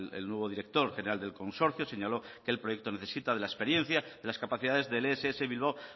el nuevo director general del consorcio señaló que el proyecto necesita de la experiencia y de las capacidades del ess bilbao